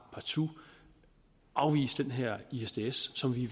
partout afvise den her i isds som vi